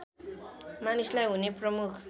मानिसलाई हुने प्रमुख